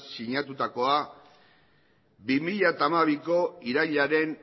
sinatutakoa bi mila hamabiko irailaren